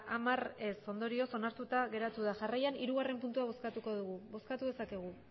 hamar ondorioz onartuta geratu da jarraian hirugarrena puntua bozkatuko dugu bozkatu dezakegu